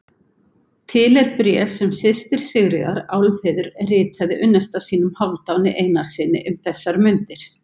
Til er bréf sem systir Sigríðar, Álfheiður, ritaði unnusta sínum, Hálfdáni Einarssyni, um þessar mundir.